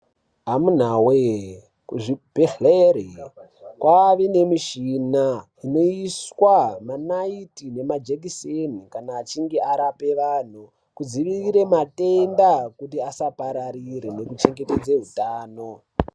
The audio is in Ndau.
Amunawe, kuzvibhehlera kwave nemushina inoiswa manaiti nemahekiseni kana achinge arapa vanhu kudzivirire matenda kuti asapararire nekuchengetedza hutano.